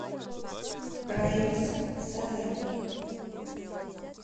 раиса сараева